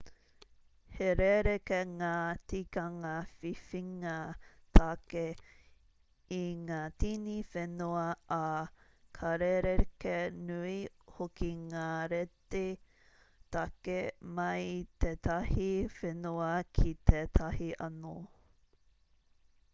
he rerekē ngā tikanga whiwhinga tāke i ngā tini whenua ā ka rerekē nui hoki ngā rēti tāke mai i tētahi whenua ki tētahi anō